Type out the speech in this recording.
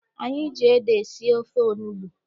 Anyị ji ede sie ofe onugbu.